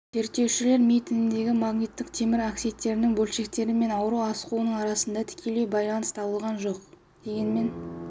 зерттеушілер ми тініндегі магниттік темір оксидінің бөлшектері мен аурудың асқынуы арасындағы тікелей байланыс табылған жоқ дегенмен